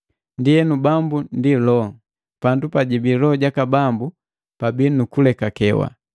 Ndienu, Bambu ndi Loho. Pandu pajibii loho jaka Bambu pabii nu ulekakewa.